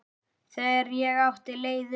Þegar ég átti leið um